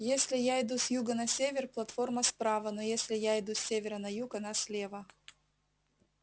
если я иду с юга на север платформа справа но если я иду с севера на юг она слева